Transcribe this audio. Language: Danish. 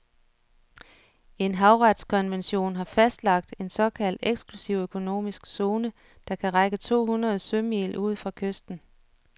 En havretskonvention har fastlagt en såkaldt eksklusiv økonomisk zone, der kan række to hundrede sømil ud fra kysten.